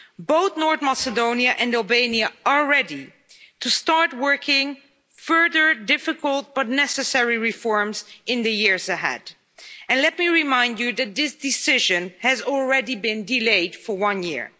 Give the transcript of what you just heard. Both North Macedonia and Albania are ready to start working on further difficult but necessary reforms in the years ahead. And let me remind you that this decision has already been delayed for one year.